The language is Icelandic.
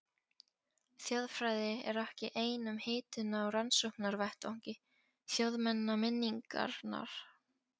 Þjóðfræði er ekki ein um hituna á rannsóknarvettvangi þjóðmenningarinnar.